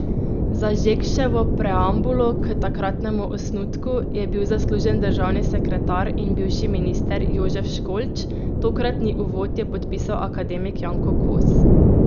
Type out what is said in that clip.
Za Žekševo preambulo k takratnemu osnutku je bil zaslužen državni sekretar in bivši minister Jožef Školč, tokratni uvod je podpisal akademik Janko Kos.